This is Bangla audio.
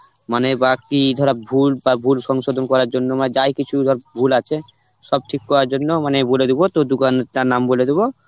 মানে বা কি ধরো ভুল বা ভুল সংশোধন করার জন্য মানে যাই কিছু ভ~ ভুল আছে সব ঠিক করার জন্য মানে বলে দিব তোর দুকানটার নাম বলে দিবো